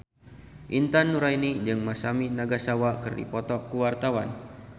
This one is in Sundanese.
Intan Nuraini jeung Masami Nagasawa keur dipoto ku wartawan